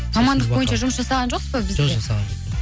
мамандық бойынша жұмыс жасаған жоқсыз ба жоқ жасаған жоқпын